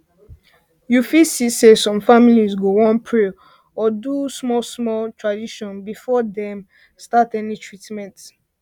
you fit see say some families go wan pray or do small do small tradition before dem start any treatment